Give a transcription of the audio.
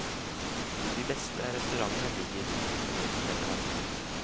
De beste restaurantene ligger i hotellene.